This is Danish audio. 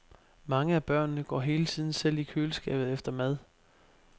Mange af børnene går hele tiden selv i køleskabet efter mad.